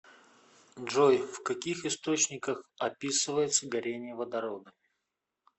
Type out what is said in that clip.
джой в каких источниках описывается горение водорода